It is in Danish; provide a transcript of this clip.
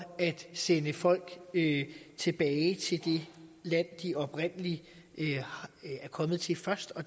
at sende folk tilbage til det land de oprindelig er kommet til først og